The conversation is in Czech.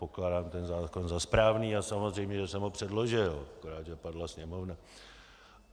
Pokládám ten zákon za správný a samozřejmě, že jsem ho předložil, akorát že padla Sněmovna.